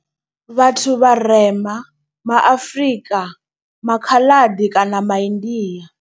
Vhathu vharema ma Afrika, maKhaladi kana ma India.